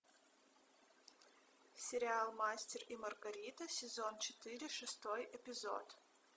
сериал мастер и маргарита сезон четыре шестой эпизод